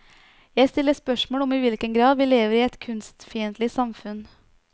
Jeg stiller spørsmål om i hvilken grad vi lever i et kunstfiendtlig samfunn.